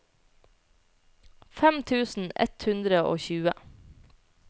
fem tusen ett hundre og tjue